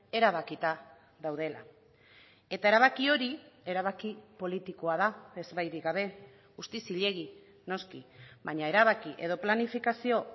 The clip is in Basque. erabakita daudela eta erabaki hori erabaki politikoa da ezbairik gabe guztiz zilegi noski baina erabaki edo planifikazio